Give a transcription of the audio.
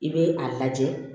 I bɛ a lajɛ